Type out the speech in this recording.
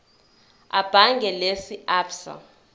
ebhange lase absa